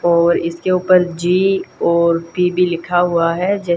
और इसके ऊपर जी और टी_डी लिखा हुआ है ज--